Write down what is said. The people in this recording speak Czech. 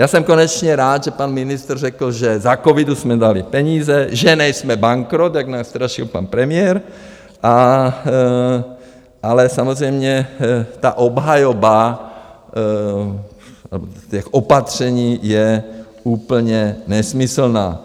Já jsem konečně rád, že pan ministr řekl, že za covidu jsme dali peníze, že nejsme bankrot, jak nás strašil pan premiér, ale samozřejmě ta obhajoba těch opatření je úplně nesmyslná.